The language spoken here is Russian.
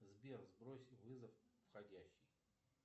сбер сбрось вызов входящий